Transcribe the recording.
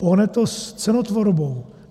Pohne to s cenotvorbou.